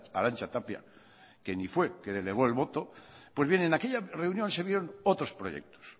arantxa tapia que ni fue que delegó el voto pues bien en aquella reunión se vieron otros proyectos